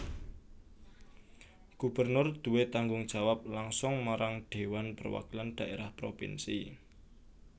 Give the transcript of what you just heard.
Gubernur duwé tanggung jawab langsung marang Dhéwan Perwakilan Dhaérah Propinsi